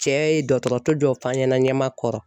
Cɛ ye dɔgɔtɔrɔso dɔ f'an ɲɛna Ɲamakɔrɔ